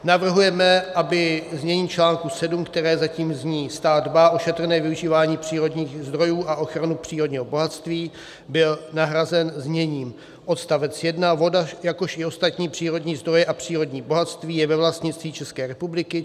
Navrhujeme, aby znění článku 7, které zatím zní: "Stát dbá o šetrné využívání přírodních zdrojů a ochranu přírodního bohatství.", byl nahrazen zněním: Odstavec 1: "Voda, jakož i ostatní přírodní zdroje a přírodní bohatství je ve vlastnictví České republiky.